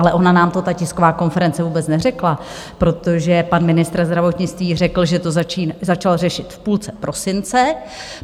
Ale ona nám to ta tisková konference vůbec neřekla, protože pan ministr zdravotnictví řekl, že to začal řešit v půlce prosince.